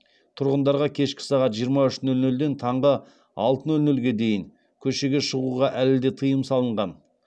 тұрғындарға кешкі сағат жиырма үш нөл нөлден таңғы алты нөл нөлге дейін көшеге шығуға әлі де тыйым салынған